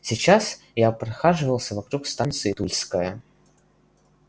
сейчас я прохаживался вокруг станции тульская